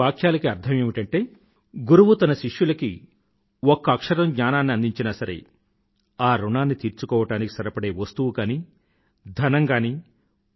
ఈ వాక్యాలకి అర్ధం ఏమిటంటే గురువు తన శిష్యులకి ఒక్క అక్షరం జ్ఞానాన్ని అందించినా సరే ఆ ఋణాన్ని తీర్చుకోవడానికి సరిపడే వస్తువుగానీ ధనం గానీ